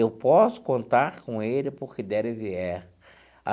Eu posso contar com ele, para o que der e vier.